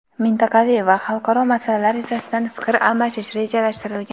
mintaqaviy va xalqaro masalalar yuzasidan fikr almashish rejalashtirilgan.